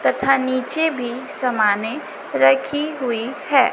तथा नीचे भी समानें रखी हुई है।